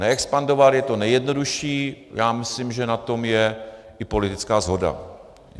Neexpandovat je to nejjednodušší, já myslím, že na tom je i politická shoda.